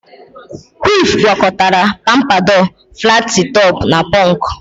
Kwif gwakọtara pampadọ, flatị tọpụ na pọnk